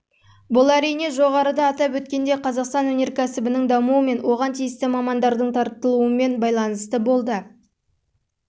бұл әрине жоғарыда атап өткендей қазақстан өнеркәсібінің дамуы мен оған тиісті мамандардың тартылуымен байланысты болды